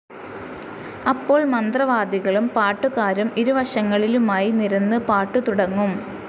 അപ്പോൾ മന്ത്രവാദികളും പാട്ടുകാരും ഇരുവശങ്ങളിലുമായി നിരന്ന് പാട്ടുതുടങ്ങും.